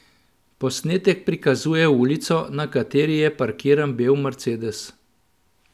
Posnetek prikazuje ulico, na kateri je parkiran bel mercedes.